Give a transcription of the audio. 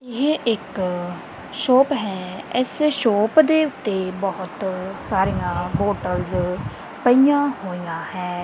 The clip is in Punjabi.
ਇਹ ਇੱਕ ਸ਼ੌਪ ਹੈ ਇੱਸ ਸ਼ੌਪ ਦੇ ਓੱਤੇ ਬਹੁਤ ਸਾਰਿਆਂ ਬੋਤਲਜ਼ ਪਈਆਂ ਹੋਇਆਂ ਹਨ।